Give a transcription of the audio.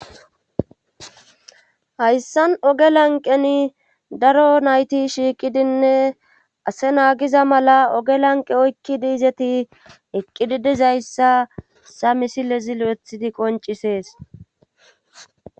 hayssan oge lanqen daro nayti shiiqidinne ase naagiza mala oge lanqe oykki diizeti eqqidi dizayssa sa misilezi lo7ethidi qoncisees